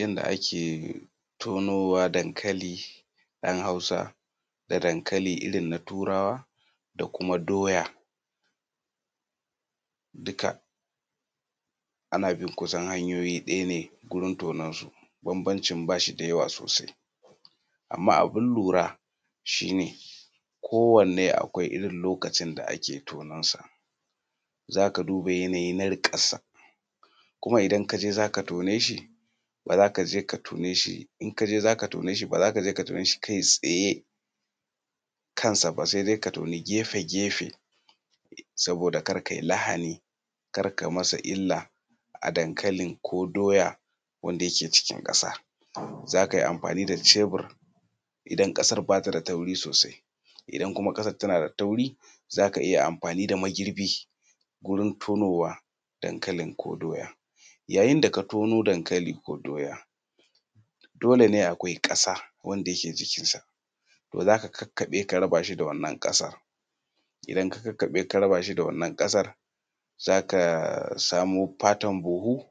Yadda ake tonowa dankali ɗan Hausa da dankali irin na turawa da kuma doya, dukka ana bi kusan hanyoyi daya ne wurin tononsu bambancin ba shi da yawa sosai amma abun lura shi ne kowanne akwai irin lokacin d ake tononsa za ka tuba yanayi na iron riƙarsa. Kuma idan ka je za ka tone shi ba za ka je ka tone shi kai tsaye kansa ba sai dai ka toni gefe saboda ka da ka yi masa lahani kar ka yi masa illa a dankali ko doya wanda yake cikin ƙasa za ka yi amfani da cebur idan kasar ba ta da tauri sosai, idan kuma ƙasar tana da tauri za ka iya amfani da magirbi wajen tonowa ko doya. Yayin da ka tono dankalin ko doya dole ne akwai ƙasa wanda yake jikinsa za ka kakkaɓe ka raba shi da wannan ƙasar. Idan ka kakkaɓe ka raba shi da wannan ƙasar za ka samu fatar buhu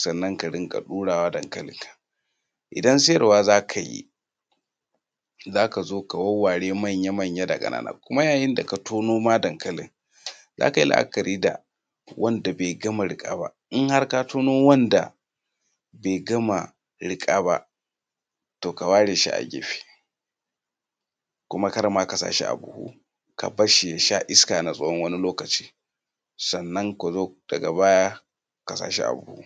sannan ka riƙa ɗura dankalinka. Idan sayarwa za ka yi za ka zo ka wawware manya-manya da ƙanana, kuma yayin da ka tono dankali za ka yi labari da wanda bai gama riƙa ba in har ka tono wanda bai gama riƙa ba to ka ware shi a gefe kuma kar ma ka sa shi a buhu ka bar shi ya sha iska na wani lokaci sannna da daga baya ka sa shi a buhu.